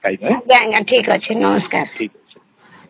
ହଁ ଠିକ ଅଛି